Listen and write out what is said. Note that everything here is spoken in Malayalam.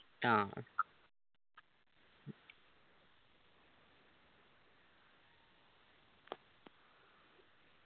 ആ